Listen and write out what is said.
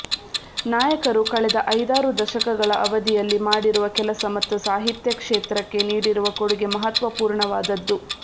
ನಾಯಕರು ಕಳೆದ ಐದಾರು ದಶಕಗಳ ಅವಧಿಯಲ್ಲಿ ಮಾಡಿರುವ ಕೆಲಸ ಮತ್ತು ಸಾಹಿತ್ಯ ಕ್ಷೇತ್ರಕ್ಕೆ ನೀಡಿರುವ ಕೊಡುಗೆ ಮಹತ್ವಪೂರ್ಣವಾದದ್ದು